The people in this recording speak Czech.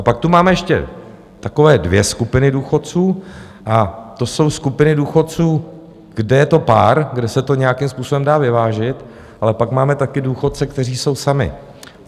A pak tu máme ještě takové dvě skupiny důchodců a to jsou skupiny důchodců, kde je to pár, kde se to nějakým způsobem dá vyvážit, ale pak máme taky důchodce, kteří jsou sami.